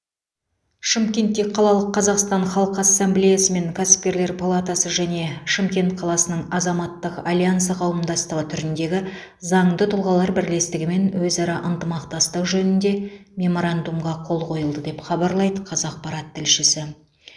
шымкентте қалалық қазақстан халқы ассамблеясы мен кәсіпкерлер палатасы және шымкент қаласының азаматтық альянсы қауымдастығы түріндегі заңды тұлғалар бірлестігімен өзара ынтымақтастық жөнінде меморандумға қол қойылды деп хабарлайды қазақпарат тілшісі